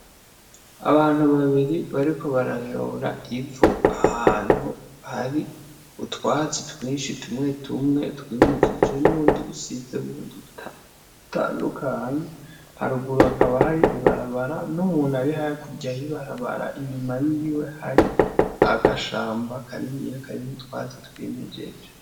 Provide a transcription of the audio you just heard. Abantu babiri bariko barayora ivu ahantu hari utwatsi twishi tumwetumwe twimejeje n'ubundi busize bundi butandukanye haruguru hakaba hari ibarabara n'umuntu ari hakurya y'ibarabara inyuma yiwe hari agahamba kaniniya karimwo utwatsi twimejeje.